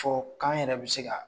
Fɔ k'an yɛrɛ bɛ se ka